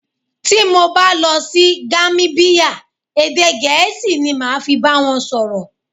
Tí mo bá lọ sí Gamíbíyà, èdè Gẹ̀ẹ́sì ni màá fi bá wọn sọ̀rọ̀.